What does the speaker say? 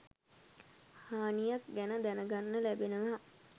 හානියක් ගැන දැනගන්න ලැබෙනවා